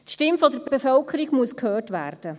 Die Stimme der Bevölkerung muss gehört werden.